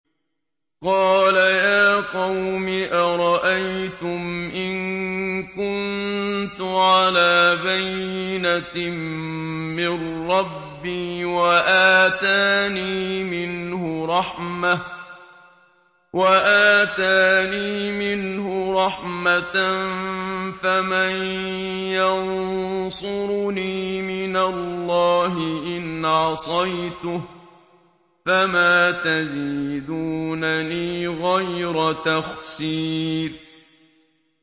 قَالَ يَا قَوْمِ أَرَأَيْتُمْ إِن كُنتُ عَلَىٰ بَيِّنَةٍ مِّن رَّبِّي وَآتَانِي مِنْهُ رَحْمَةً فَمَن يَنصُرُنِي مِنَ اللَّهِ إِنْ عَصَيْتُهُ ۖ فَمَا تَزِيدُونَنِي غَيْرَ تَخْسِيرٍ